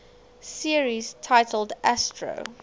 series titled astro